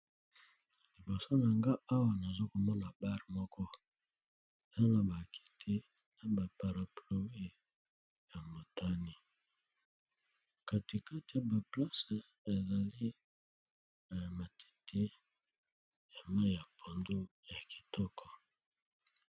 Liboso na nga awa nazo komona bar moko, tanga ba kiti na ba parapluie ya motane. Kati kati ya ba place ezali na matiti ya mayi ya pondu, ya kitoko.